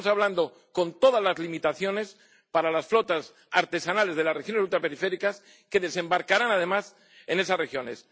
Estamos hablando de renovar, con todas las limitaciones, las flotas artesanales de las regiones ultraperiféricas, que desembarcarán además en esas regiones.